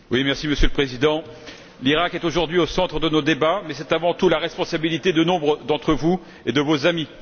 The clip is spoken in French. Monsieur le Président, l'Iraq est aujourd'hui au centre de nos débats, mais c'est avant tout la responsabilité de nombre d'entre vous et de vos amis.